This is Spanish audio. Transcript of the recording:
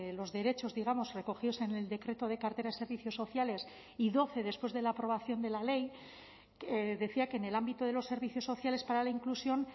los derechos digamos recogidos en el decreto de cartera de servicios sociales y doce después de la aprobación de la ley decía que en el ámbito de los servicios sociales para la inclusión